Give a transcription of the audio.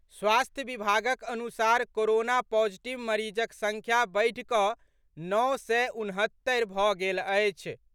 स्वास्थ्य विभागक अनुसार कोरोना पॉजिटिव मरीजक संख्या बढ़ि कऽ नओ सय उनहत्तरि भऽ गेल अछि।